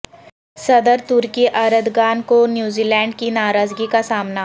صدر ترکی اردغان کو نیوزی لینڈ کی ناراضگی کا سامنا